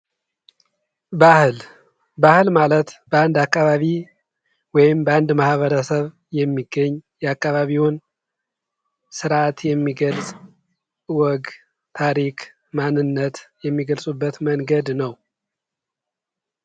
ባህል ባህል ማለት በአንድ አካባቢ ወይም ማህበረሰብ የሚገኝ የአካባቢውን ስርዓት የሚገልፅ ወግ ታሪክ ማንነት የሚገልፁበት መንገድ ነው ።